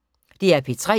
DR P3